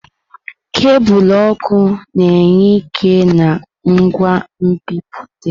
Kebul ọkụ na-enye ike na ngwa nbipute.